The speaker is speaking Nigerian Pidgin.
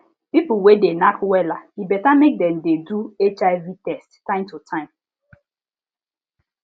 people wey de knack wella e better mk dem de do hiv test time to time